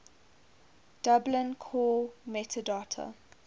dublin core metadata